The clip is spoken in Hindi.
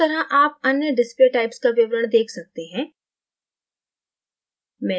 इसी तरह आप अन्य display typesका विवरण देख सकते हैं